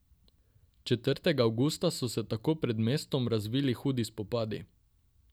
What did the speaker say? Četrtega avgusta so se tako pred mestom razvili hudi spopadi.